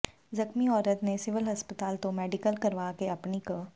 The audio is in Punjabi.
ਜ਼ਖ਼ਮੀ ਔਰਤ ਨੇ ਸਿਵਲ ਹਸਪਤਾਲ ਤੋਂ ਮੈਡੀਕਲ ਕਰਵਾ ਕੇ ਆਪਣੀ ਕ